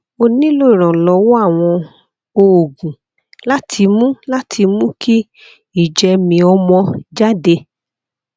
o nílò ìrànlọwọ àwọn oògùn láti mú láti mú kí ìjẹmìíọmọ jáde